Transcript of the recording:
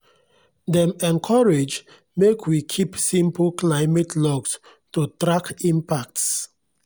dem encourage make we keep simple climate logs to track impacts